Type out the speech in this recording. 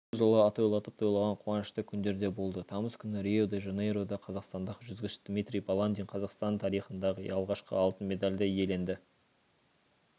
бұл жылы атойлатып тойлаған қуанышты күндер де болды тамыз күні рио-де-жанейрода қазақстандық жүзгіш дмитрий баландин қазақстан тарихындағы алғашқы алтын медальді иеленді